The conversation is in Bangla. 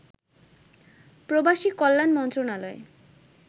প্রবাসী কল্যাণ মন্ত্রণালয়